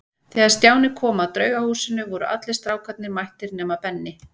Þegar Stjáni kom að Draugahúsinu voru allir strákarnir mættir nema Benni.